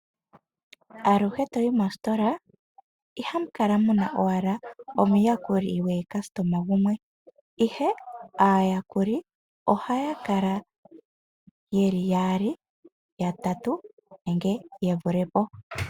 Aluhe toyi mositola ihamu kala owala muna omuyakuli gwaalandi gumwe ihe aayakuli ohaya kala yeli yaali, yatatu nenge ye vule po.